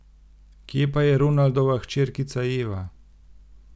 Kje pa je Ronaldova hčerkica Eva?